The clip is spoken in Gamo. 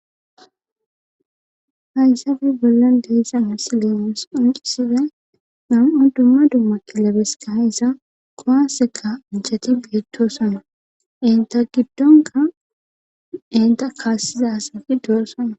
Hayssafi bollan deeyssana sileos onisife nan7o dumma duumma kilabeska hayssa kohaseka inchati beettoosana inta giddonka inta kaassiza asati doossana.